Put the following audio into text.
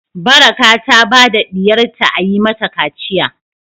Baraka ta ba diyarta a Yi mata kaciya.